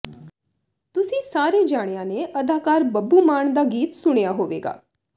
ਤੁਸੀਂ ਸਾਰੇ ਜਣਿਆ ਨੇ ਅਦਾਕਾਰ ਬੱਬੂ ਮਾਨ ਦਾ ਗੀਤ ਸੁਣਿਆ ਹੋਵੇਗਾ